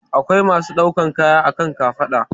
Akwai masu ɗaukan kaya a kan kafaɗa